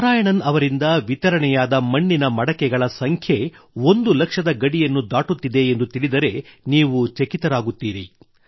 ನಾರಾಯಣನ್ ಅವರಿಂದ ವಿತರಣೆಯಾದ ಮಣ್ಣಿನ ಮಡಕೆಗಳ ಸಂಖ್ಯೆ ಒಂದು ಲಕ್ಷದ ಗಡಿಯನ್ನು ದಾಟುತ್ತಿದೆ ಎಂದು ತಿಳಿದರೆ ನೀವು ಚಕಿತರಾಗುತ್ತೀರಿ